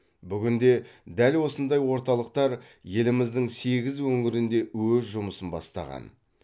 бүгінде дәл осындай орталықтар еліміздің сегіз өңірінде өз жұмысын бастаған